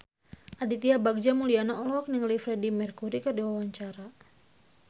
Aditya Bagja Mulyana olohok ningali Freedie Mercury keur diwawancara